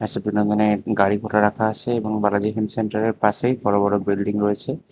সেখানে মানে গাড়িগুলা রাখা আসে এবং বালাজি হেলথ সেন্টার এর পাশেই বড় বড় বিল্ডিং রয়েসে।